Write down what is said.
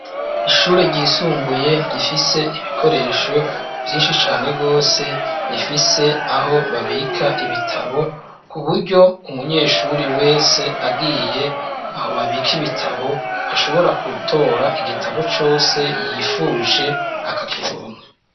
Ishure ry'isumbuye rifise ibikoresho vyinshi cane gose rifise aho babika ibitabo, ku buryo umunyeshuri wese agiye aho babika ibitabo ashobora gutora igitabo cose yifuje akakironka.